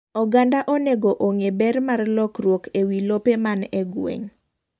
Oganda onego ong'e ber mar lokruok ewi lope man e gweng.